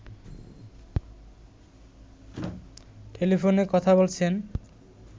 টেলিফোনে কথা বলছেন